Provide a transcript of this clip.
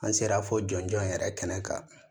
An sera fo jɔnjɔn in yɛrɛ kɛnɛ kan